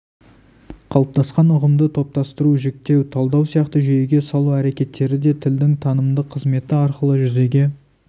қалыптасқан ұғымды топтастыру жіктеу талдау сияқты жүйеге салу әрекеттері де тілдің танымдық қызметі арқылы жүзеге